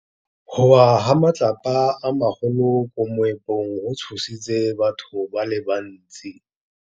Go wa ga matlapa a magolo ko moepong go tshositse batho ba le bantsi.